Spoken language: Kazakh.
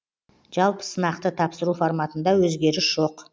жалпы сынақты тапсыру форматында өзгеріс жоқ